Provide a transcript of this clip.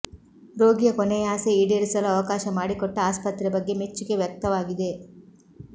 ರೋಗಿಯ ಕೊನೆಯಾಸೆ ಈಡೇರಿಸಲು ಅವಕಾಶ ಮಾಡಿಕೊಟ್ಟ ಆಸ್ಪತ್ರೆ ಬಗ್ಗೆ ಮೆಚ್ಚುಗೆ ವ್ಯಕ್ತವಾಗಿದೆ